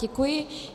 Děkuji.